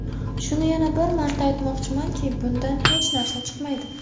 Shuni yana bir marta aytmoqchimanki, bundan hech narsa chiqmaydi.